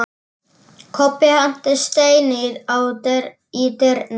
Kobbi henti steini í dyrnar.